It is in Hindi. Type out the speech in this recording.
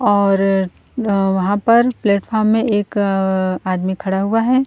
और वहां पर प्लेटफार्म में एक आदमी खड़ा हुआ है।